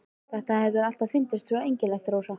Þetta hefur mér alltaf fundist svo einkennilegt, Rósa.